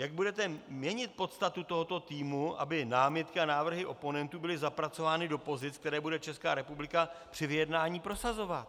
Jak budete měnit podstatu tohoto týmu, aby námitky a návrhy oponentů byly zapracovány do pozic, které bude Česká republika při vyjednání prosazovat?